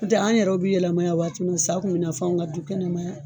N'o tɛ an yɛrɛw bɛ yɛlɛma yan waati min sa kun bɛ na fo anw ka du kɛnɛma yan.